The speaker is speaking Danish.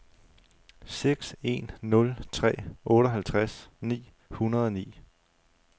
seks en nul tre otteoghalvtreds ni hundrede og ni